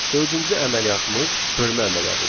Dördüncü əməliyyatımız bölmə əməliyyatıdır.